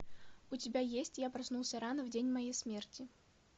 у тебя есть я проснулся рано в день моей смерти